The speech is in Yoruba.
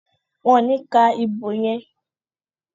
Wón ní ka ìbò yén.